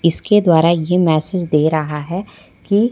इसके द्वारा ये मैसेज दे रहा है कि--